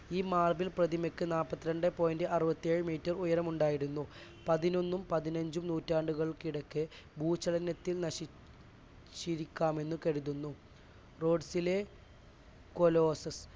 ഈ മാർബിൾ പ്രതിമയ്ക്ക് നാല്പത്തിരണ്ടേ point അറുപത്തിയേഴ് metre ഉയരമുണ്ടായിരുന്നു. പതിനൊന്നും പതിനഞ്ചും നൂറ്റാണ്ടുകൾക്കിടയ്ക്ക് ഭൂചലനത്തിൽ ശനി ചിരിക്കാമെന്ന് കരുതുന്നു റോഡ്സിലെ കൊലൊസസ്സ്